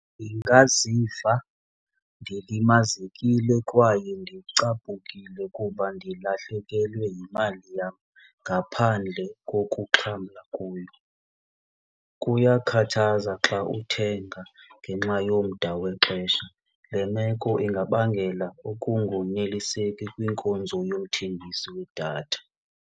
Ndingaziva ndilimazekile kwaye ndicaphukile kuba ndilahlekelwe yimali yam ngaphandle kokuxhamla kuyo. Kuyakhathaza xa uthenga ngenxa yomda wexesha. Le meko ingabangela ukungoneliseki kwinkonzo yomthengisi wedatha.